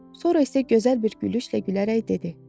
Sonra isə gözəl bir gülüşlə gülərək dedi: